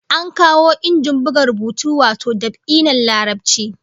An kawo injin buga rubutu wato dab'i na Larabci